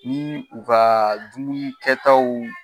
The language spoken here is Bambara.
Ni u ka dumuni kɛ taw